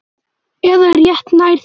Eða rétt nær því.